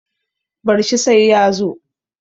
bar shi sai ya zo